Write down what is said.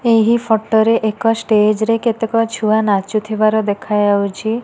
ଏହି ଫଟ ରେ ଏକ ଷ୍ଟେଜ୍ ରେ କେତେକ ଛୁଆ ନାଚୁଥିବାର ଦେଖାଯାଉଚି।